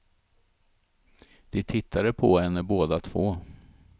De tittade på henne båda två.